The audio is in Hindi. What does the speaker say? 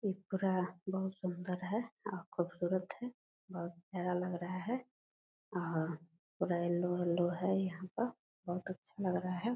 ये पूरा बहुत सूंदर है और खूबसूरत है। बहुत प्यारा लग रहा है और पूरा येल्लो-येल्लो है। यहाँ पर बहुत अच्छा लग रहा है।